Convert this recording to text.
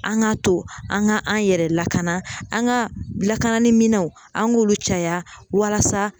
An k'a to an ka an yɛrɛ lakana an ka lakanaliminɛnw an k'olu caya walasa